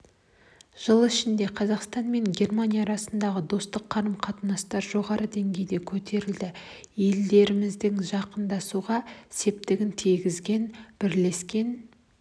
жыл ішінде қазақстан мен германия арасындағы достық қарым-қатынастар жоғары деңгейге көтерілді елдерімізді жақындастыруға септігін тигізген бірлескен